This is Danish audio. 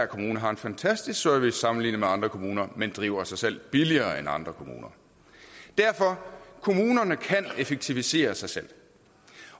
kommune har en fantastisk service sammenlignet med andre kommuner men driver sig selv billigere end andre kommuner derfor kommunerne kan effektivisere sig selv